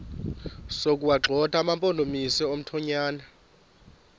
sokuwagxotha amampondomise omthonvama